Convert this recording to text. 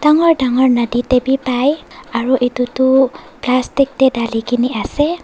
dangor dangor nadi de b pai aro edu tu plastic de dali gine ase.